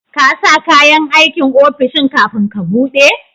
kasa kayan aikin ofishin kafin ka buɗe